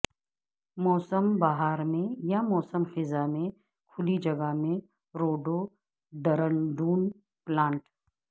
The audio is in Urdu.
موسم بہار میں یا موسم خزاں میں کھلی جگہ میں روڈوڈرنڈون پلانٹ